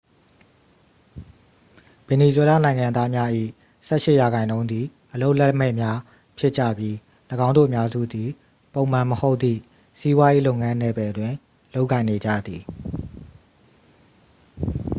ဗင်နီဇွဲလားနိုင်ငံသားများ၏ ဆယ့်ရှစ်ရာခိုင်နှုန်းသည် အလုပ်လက်မဲ့များဖြစ်ကြပြီး ၎င်းတို့အများစုသည် ပုံမှန်မဟုတ်သည့် စီးပွားရေးလုပ်ငန်းနယ်ပယ်တွင် လုပ်ကိုင်နေကြသည်